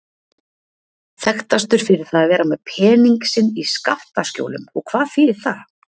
Þekktastur fyrir það að vera með pening sinn í skattaskjólum og hvað þýðir það?